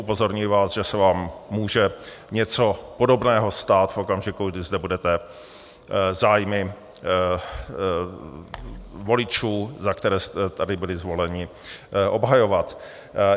Upozorňuji vás, že se vám může něco podobného stát v okamžiku, kdy zde budete zájmy voličů, za které jste tady byli zvoleni, obhajovat.